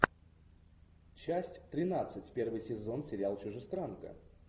часть тринадцать первый сезон сериал чужестранка